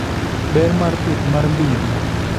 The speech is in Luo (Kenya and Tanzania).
Ber mar pith mar mbidhi